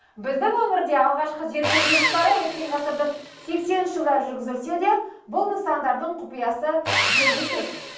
біздің өңірде алғашқы зерттеу жұмыстары өткен ғасырдың сексенінші жылдары жүргізілсе де бұл нысандардың құпиясы белгісіз